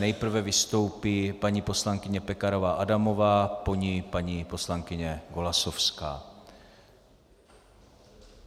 Nejprve vystoupí paní poslankyně Pekarová Adamová, po ní paní poslankyně Golasowská.